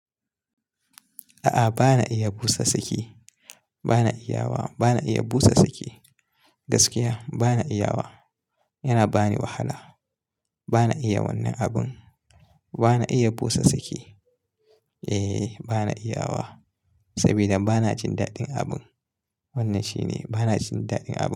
A'a, ba na iya busa saki. Ba na iya wa. Ba na iya busa saki. Gaskiya ba na iya wa. Yana bani wahala. Ba na iya wannan abin. Ba na iya busa saki. Eh, ba na iya wa saboda ba na jin daɗin abin. Wannan shine, ba na jin daɗin abin.